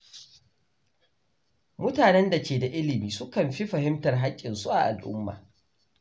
Mutanen da ke da ilimi sukan fi fahimtar haƙƙinsu a al’umma.